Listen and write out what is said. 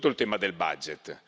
Innanzitutto il tema del budget